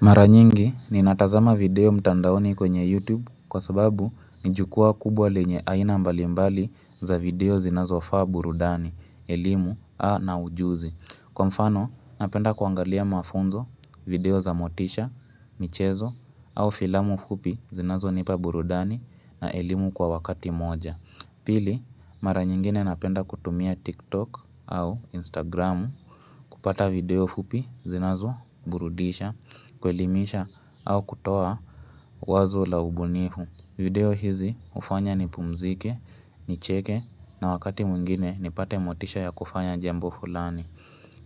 Mara nyingi, ninatazama video mtandaoni kwenye YouTube kwa sababu ni jukwaa kubwa lenye aina mbali mbali za video zinazo faa burudani, elimu, a na ujuzi. Kwa mfano, napenda kuangalia mafunzo, video za motisha, michezo, au filamu fupi zinazo nipa burudani na elimu kwa wakati moja. Pili, mara nyingine napenda kutumia TikTok au Instagram kupata video fupi zinazo burudisha, kuelimisha au kutoa wazo la ubunifu. Video hizi hufanya nipumzike, nicheke na wakati mwingine nipate motisha ya kufanya jambo fulani.